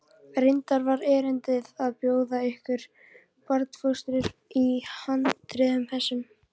Reyndar var erindið að bjóða ykkur barnfóstur í harðindum þessum.